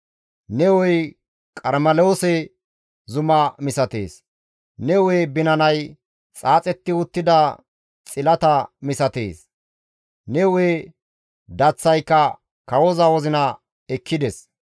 Ne hu7ey Qarmeloose zuma misatees; ne hu7e binanay xaaxetti uttida xilata misatees; ne hu7e daththayka kawoza wozina ekkides.